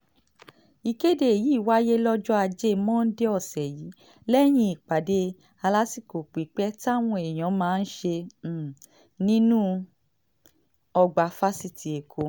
um ìkéde yìí wáyé lọ́jọ́ ajé monde ọ̀sẹ̀ yìí lẹ́yìn ìpàdé alásìkò pípé táwọn èèyàn náà ṣe um nínú ọgbà fásitì ẹ̀kọ́